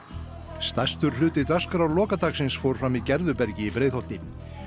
stærstur hluti dagskrár fór fram í Gerðubergi í Breiðholti